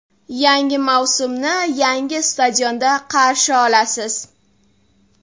Yangi mavsumni yangi stadionda qarshi olasiz.